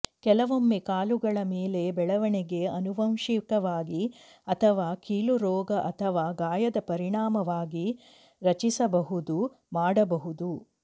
ಕೆಲವೊಮ್ಮೆ ಕಾಲುಗಳ ಮೇಲೆ ಬೆಳವಣಿಗೆ ಆನುವಂಶಿಕವಾಗಿ ಅಥವಾ ಕೀಲು ರೋಗ ಅಥವಾ ಗಾಯದ ಪರಿಣಾಮವಾಗಿ ರಚಿಸಬಹುದು ಮಾಡಬಹುದು